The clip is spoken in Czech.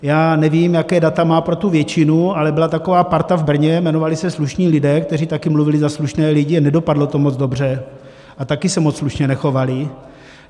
Já nevím, jaká data má pro tu většinu, ale byla taková parta v Brně, jmenovali se Slušní lidé, kteří taky mluvili za slušné lidi a nedopadlo to moc dobře a taky se moc slušně nechovali.